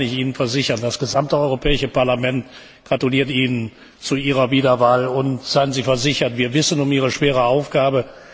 Aber eines kann ich Ihnen versichern Das gesamte Europäische Parlament gratuliert Ihnen zu Ihrer Wiederwahl, und seien Sie versichert, wir wissen um Ihre schwere Aufgabe.